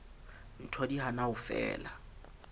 ntho di hana ho fela